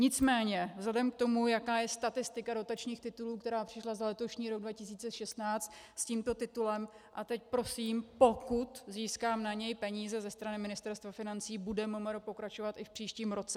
Nicméně vzhledem k tomu, jak je statistika dotačních titulů, která přišla za letošní rok 2016 s tímto titulem, a teď prosím, pokud získám na něj peníze ze strany Ministerstva financí, bude MMR pokračovat i v příštím roce.